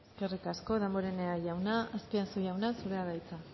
eskerrik asko damborenea jauna azpiazu jauna zurea da hitza